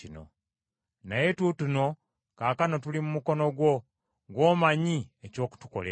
Naye tuutuno kaakano tuli mu mukono gwo gw’omanyi eky’okutukolera.”